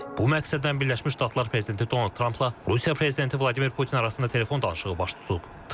Bu məqsədlə Birləşmiş Ştatlar prezidenti Donald Trampla Rusiya prezidenti Vladimir Putin arasında telefon danışığı baş tutub.